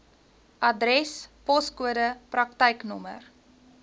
adres poskode praktyknommer